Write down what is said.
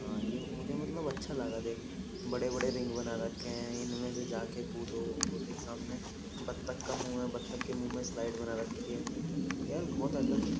हाँ ये मुझे मतलब अच्छा लगा देख बड़े-बड़े रिंग बना रखे हैं इनमें से जाके खुदो वो देख सामने बत्तक का मुंह है बत्तक के मुंह में स्लाइड बना रखी है यार बहुत अलग --